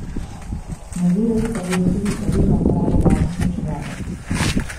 Nadzirali pa bodo tudi pravilno uporabo varnostne čelade.